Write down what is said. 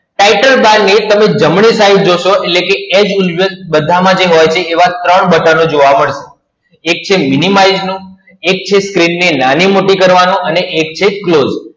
Title Bar ની તમે જમણી side જોશો એટલે કે as usual બધા માં જે હોય છે એવા ત્રણ button જોવા મળશે. એક છે Minimize નું, એક છે screen ને નાની મોટી કરવાનું અને એક છે close